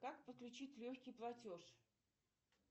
как подключить легкий платеж